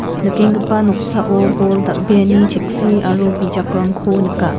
nikenggipa noksao bol dal·beani cheksi aro bijakrangko nika.